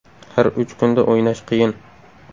Har uch kunda o‘ynash qiyin.